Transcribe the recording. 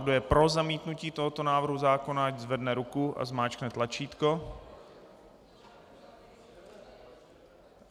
Kdo je pro zamítnutí tohoto návrhu zákona, ať zvedne ruku a zmáčkne tlačítko.